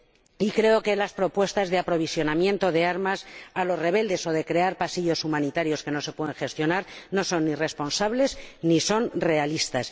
Y creo que las propuestas de aprovisionamiento de armas a los rebeldes o de crear pasillos humanitarios que no se pueden gestionar no son ni responsables ni realistas.